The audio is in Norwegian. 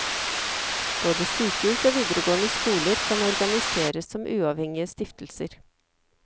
Både sykehus og videregående skoler kan organiseres som uavhengige stiftelser.